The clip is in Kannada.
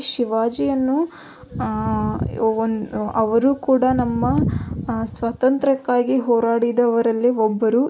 ಶಿವಾಜಿಯನ್ನು ಆಹ್ಹ್ ಅವರು ಕೂಡ ನಮ್ಮ ಸ್ವಾತಂತ್ರಕ್ಕಾಗಿ ಹೋರಾಡಿದವರಲ್ಲಿ ಒಬ್ಬರು.